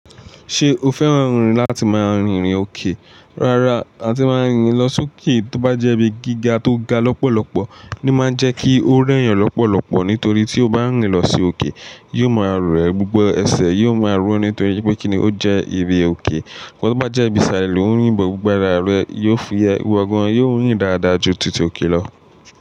Ṣé o fẹ́ràn rìn láti máa rìn ìrìn òkè? Rárá, a ti máa ń rìn lọ sókè tóbájẹ́ ibi gíga tó ga lọ́pọ̀lọ́pọ̀ ní máa ń jẹ́ kí ó rẹ́yàn lọ́pọ̀lọ́pọ̀ nítorí tí o bá ń rìn lọ sí òkè, yóò máa rẹ gbogbo ẹsẹ̀ yóò máa ro nítorí pé kíni ó jẹ́ ibi òkè. Ǹkan tí ó bá jẹ́ ibi sìrlè, ò ń rìn bọ̀, gbogbo ara rẹ yóò fú ẹ, gbogbo ọ̀gàn yóò ń rìn dáadáa ju tìtì òkè lọ.